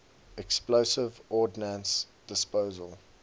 explosive ordnance disposal